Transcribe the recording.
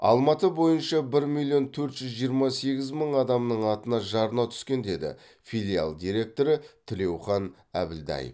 алматы бойынша бір миллион төрт жүз жиырма сегіз мың адамның атына жарна түскен деді филиал директоры тілеухан әбілдаев